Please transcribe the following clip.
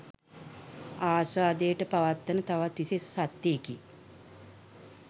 ආස්වාදයට පත්වන තවත් විශේෂ සත්වයෙකි